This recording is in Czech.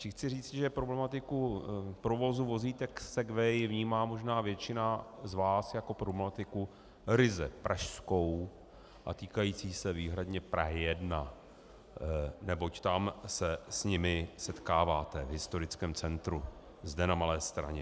Tím chci říci, že problematiku provozu vozítek segway vnímá možná většina z vás jako problematiku ryze pražskou a týkající se výhradně Prahy 1, neboť tam se s nimi setkáváte, v historickém centru zde na Malé Straně.